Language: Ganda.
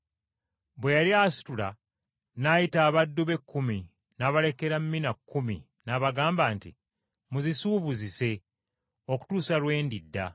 Bwe yali asitula n’ayita abaddu be kkumi n’abalekera mina kkumi n’abagamba nti, ‘Muzisuubuzise okutuusa lwe ndidda.’